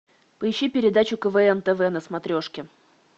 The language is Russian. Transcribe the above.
поищи передачу квн тв на смотрешке